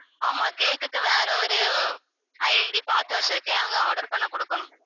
ஆமாம் cake க்கு வேற ஒரு ID பார்த்து வச்சிருக்கேன் அங்க order பண்ண கொடுக்கணும்